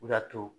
O de y'a to